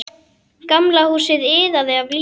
Gamla húsið iðaði af lífi.